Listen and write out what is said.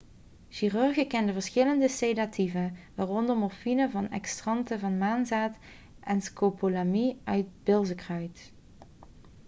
chirurgen kenden verschillende sedatieven waaronder morfine van extracten van maanzaad en scopolamine uit bilzekruid